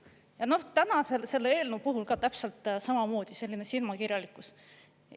Ja täna selle eelnõu puhul on täpselt samamoodi selline silmakirjalikkus.